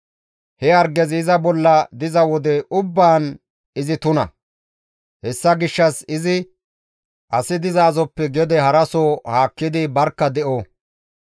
He hargezi iza bolla diza wode ubbaan izi tuna; hessa gishshas izi asi dizasoppe gede haraso haakkidi barkka de7o.